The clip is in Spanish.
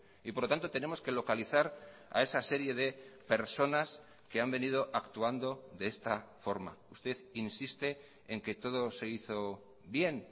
y por lo tanto tenemos que localizar a esa serie de personas que han venido actuando de esta forma usted insiste en que todo se hizo bien